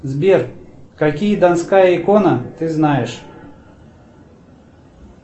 сбер какие донская икона ты знаешь